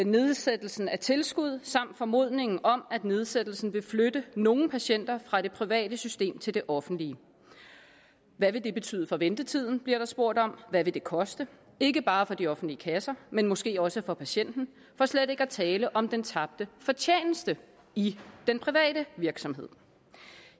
nedsættelsen af tilskuddet samt formodningen om at nedsættelsen vil flytte nogle patienter fra det private system til det offentlige hvad vil det betyde for ventetiden bliver der spurgt om hvad vil det koste ikke bare for de offentlige kasser men måske også for patienten for slet ikke at tale om den tabte fortjeneste i den private virksomhed